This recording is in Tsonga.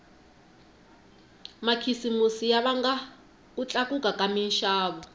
makhisimusi ya vanga ku tlakuka ka minxavo